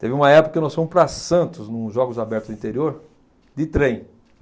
Teve uma época que nós fomos para Santos, num Jogos Abertos do Interior, de trem.